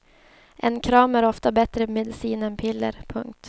En kram är ofta bättre medicin än piller. punkt